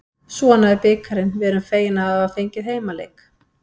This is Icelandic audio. Svona er bikarinn, við erum fegin að hafa fengið heimaleik.